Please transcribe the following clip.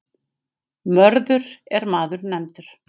Mörður er maður nefndur.